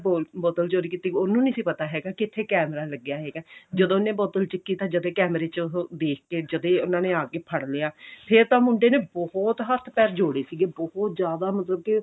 ਬੋਲ ਬੋਤਲ ਚੋਰੀ ਕੀਤੀ ਉਹਨੂੰ ਨਹੀਂ ਸੀ ਪਤਾ ਹੈਗਾ ਕਿ ਇੱਥੇ ਕੈਮੇਰਾ ਲੱਗਿਆ ਹੈਗਾ ਜਦੋਂ ਉਹਦੇ ਬੋਤਲ ਚੱਕੀ ਤਾਂ ਜਦ ਹੀ ਕੈਮੇਰੇ ਚੋਂ ਦੇਖ ਕੇ ਜਦੇਂ ਹੀ ਉਹਨਾ ਨੇ ਆਕੇ ਫੜ ਲਿਆਂ ਫੇਰ ਤਾਂ ਮੁੰਡੇ ਨੇ ਬਹੁਤ ਹੱਥ ਪੈਰ ਜੋੜੇ ਸੀਗੇ ਬਹੁਤ ਜਿਆਦਾ ਮਤਲਬ ਕਿ